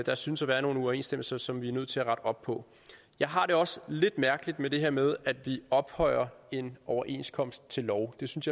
der synes at være nogle uoverensstemmelser som vi er nødt til at rette op på jeg har det også lidt mærkeligt med det her med at vi ophøjer en overenskomst til lov det synes